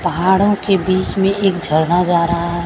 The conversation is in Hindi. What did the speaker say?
पहाड़ों के बीच में एक झरना जा रहा है।